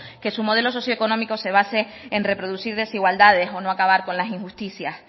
que su modelo socioeconómico se base en reproducir desigualdades o no acabar con las injusticias